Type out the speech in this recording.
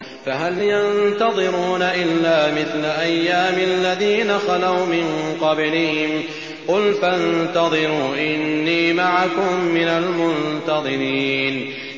فَهَلْ يَنتَظِرُونَ إِلَّا مِثْلَ أَيَّامِ الَّذِينَ خَلَوْا مِن قَبْلِهِمْ ۚ قُلْ فَانتَظِرُوا إِنِّي مَعَكُم مِّنَ الْمُنتَظِرِينَ